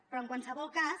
però en qualsevol cas